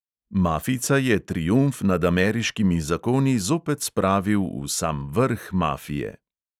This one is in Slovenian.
Mafijca je triumf nad ameriškimi zakoni zopet spravil v sam vrh mafije.